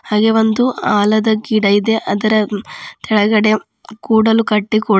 ಹಾಗೆ ಒಂದು ಆಲದ ಗಿಡ ಇದೆ ಅದರ ತೆಳಗಡೆ ಕೂಡಲು ಕಟ್ಟಿ ಕೂಡ--